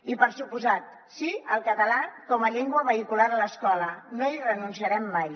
i per descomptat sí al català com a llengua vehicular a l’escola no hi renunciarem mai